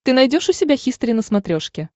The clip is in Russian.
ты найдешь у себя хистори на смотрешке